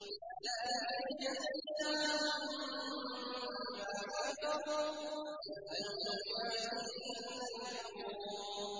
ذَٰلِكَ جَزَيْنَاهُم بِمَا كَفَرُوا ۖ وَهَلْ نُجَازِي إِلَّا الْكَفُورَ